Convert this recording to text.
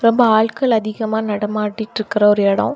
ரொம்ப ஆள்கள் அதிகமா நடமாடிட்டிருக்க ஒரு இடம்.